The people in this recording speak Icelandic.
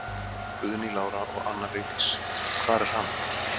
Guðný Lára og Anna Vigdís: Hvar er hann?